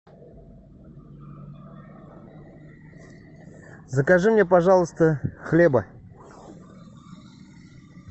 закажи мне пожалуйста хлеба